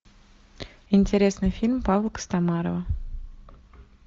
интересный фильм павла костомарова